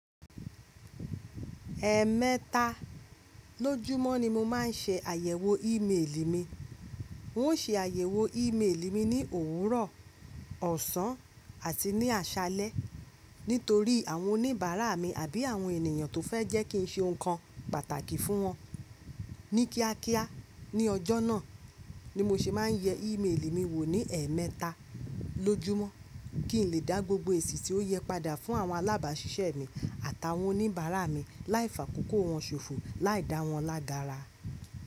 Ẹ̀ẹ̀mẹta lójúmọ́ ni mo máa ń ṣe àyẹ̀wò ìméèlì mi. N ó ṣe àyẹ̀wò ìméèlì mi ní òwúrọ̀, ọ̀sán àti ní àṣálẹ́ nítorí àwọn oníbàárà mi àbí àwọn ènìyàn tó fẹ́ jẹ́ kí n ṣe nǹkan pàtàkì fún wọn. Ní kíákíá ní ọjọ́ náà ni mo se máa ń yẹ ìméèlì mi wò ní ẹ̀ẹ̀mẹta lójúmọ́ kí n lè dá gbogbo èsì tí ó yẹ padà fún àwọn alábàáṣiṣẹ́ mi àtàwọn oníbàárà mi láìfàkókò wọn ṣòfò láìdá wọn lágara.